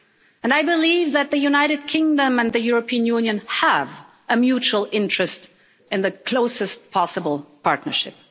And I believe that the United Kingdom and the European Union have a mutual interest in the closest possible partnership.